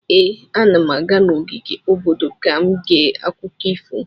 Ee, ana m aga n'ogige obodo ka m gee akụkọ ifo.